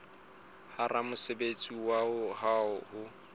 ba ramosebetsi wa hao ho